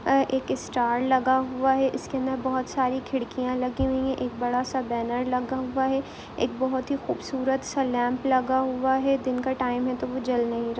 अ एक स्टार लगा हुआ है इसके अंदर बहुत सारी खिड़कियां लगी हुई है एक बड़ा सा बेन लगा हुआ है एक बहुत ही खुबसूरत सा लेम्प लगा हुआ है दिन का टाईम है तो वो जल नही रहा है।